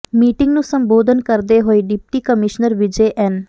meeting ਨੂੰ ਸੰਬੋਧਨ ਕਰਦੇ ਹੋਏ ਡਿਪਟੀ ਕਮਿਸ਼ਨਰ ਵਿਜੇ ਐੱਨ